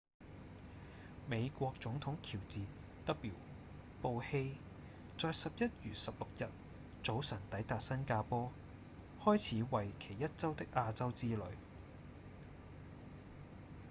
美國總統喬治 ·w· 布希在11月16日早晨抵達新加坡開始為期一週的亞洲之旅